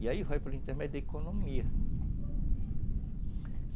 E aí vai pelo intermédio da economia.